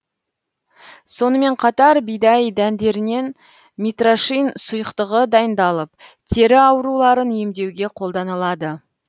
сонымен қатар бидай дәндерінен митрошин сұйықтығы дайындалып тері ауруларын емдеуге қолданылады